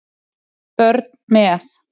Börn með